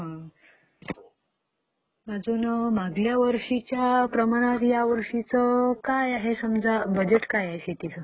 अजून मागल्या वर्षीच्या प्रमाणात ह्यावर्षी काय आहे? बजेट काय आहे शेतीचं?